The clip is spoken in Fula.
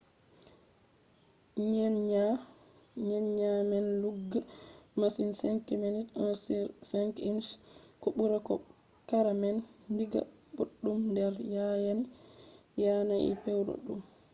nyenya man lugga masin 5mm1/5 inch ko ɓura bo kareman digga boɗɗum nder yanayi pewɗum